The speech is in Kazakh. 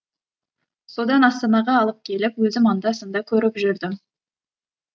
содан астанаға алып келіп өзім анда санда көріп жүрдім